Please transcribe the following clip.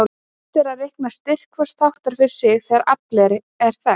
Unnt er að reikna styrk hvors þáttar fyrir sig þegar aflið er þekkt.